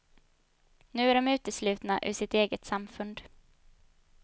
Nu är de uteslutna ur sitt eget samfund.